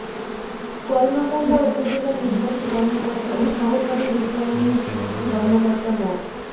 কলমাকান্দা উপজেলা নিবার্হী কর্মকর্তা ও সহকারী রির্টানিংক কর্মকর্তা মো